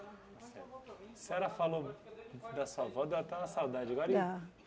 A senhora falou da sua avó, deu até uma saudade agora e Dá.